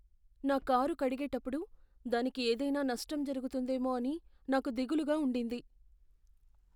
నా కారు కడిగేటప్పుడు దానికి ఏదైనా నష్టం జరుగుతుందేమో అని నాకు దిగులుగా ఉండింది.